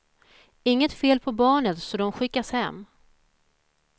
Inget fel på barnet så de skickas hem.